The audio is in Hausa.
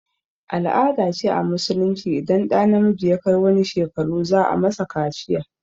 Al-ada ce a musulunci idan ɗa namiji ya kai wani shekaru za a masa kaciya